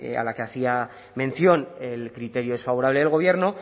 a la que hacía mención el criterio desfavorable del gobierno